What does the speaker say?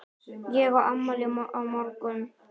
Þetta þótti þeim góð vísa.